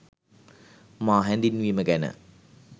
මා හැඳින්වීම ගැන